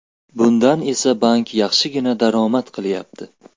Bundan esa bank yaxshigina daromad qilyapti.